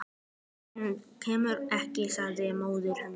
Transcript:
Hann kemur ekki, sagði móðir hennar.